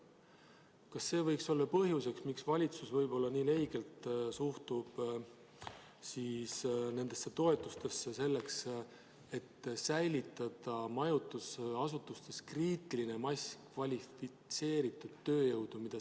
Kas see võiks olla põhjus, miks valitsus nii leigelt suhtub nendesse toetustesse, et säilitada majutusasutustes kriitiline mass kvalifitseeritud tööjõudu?